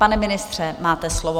Pane ministře, máte slovo.